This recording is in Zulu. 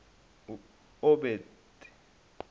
eobothe